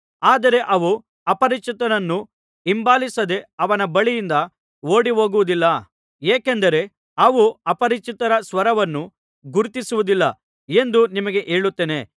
ಆದರೆ ಅವು ಅಪರಿಚಿತನನ್ನು ಹಿಂಬಾಲಿಸದೇ ಅವನ ಬಳಿಯಿಂದ ಓಡಿಹೋಗುವುದಿಲ್ಲ ಏಕೆಂದರೆ ಅವು ಅಪರಿಚಿತರ ಸ್ವರವನ್ನು ಗುರುತಿಸುವುದಿಲ್ಲ ಎಂದು ನಿಮಗೆ ಹೇಳುತ್ತೇನೆ